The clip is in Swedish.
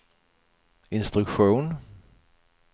instruktion